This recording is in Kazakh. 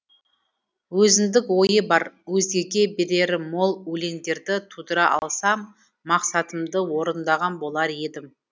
өзіндік ойы бар өзгеге берері мол өлеңдерді тудыра алсам мақсатымды орындаған болар едім